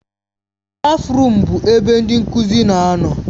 Stáfruum bụ ebe ndị nkuzi na-anọ.